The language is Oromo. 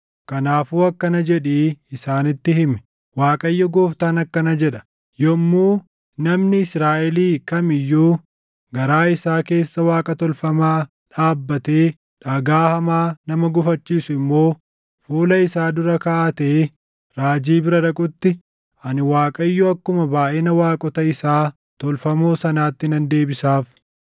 Kanaafuu akkana jedhii isaanitti himi; ‘ Waaqayyo Gooftaan akkana jedha: Yommuu namni Israaʼelii kam iyyuu garaa isaa keessa Waaqa tolfamaa dhaabbatee dhagaa hamaa nama gufachiisu immoo fuula isaa dura kaaʼatee raajii bira dhaqutti, ani Waaqayyo akkuma baayʼina waaqota isaa tolfamoo sanaatti nan deebisaaf.